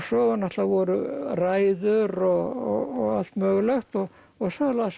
svo náttúrulega voru ræður og allt mögulegt og og svo las